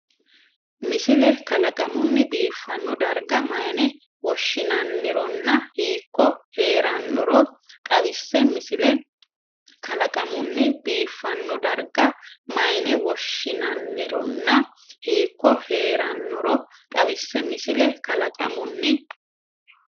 Misile kalaqamunni biifanno darga mayine woshshinannironna hiikko hee’rannoro xawisse Misile kalaqamunni biifanno darga mayine woshshinannironna hiikko hee’rannoro xawisse Misile kalaqamunni.